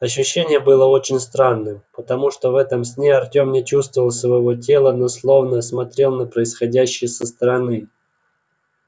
ощущение было очень странным потому что в этом сне артём не чувствовал своего тела но словно смотрел на происходящее со стороны